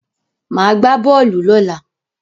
Màá gbá bọ́ọ̀lù lọ́la.